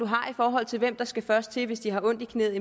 har i forhold til hvem der skal først til hvis de har ondt i knæet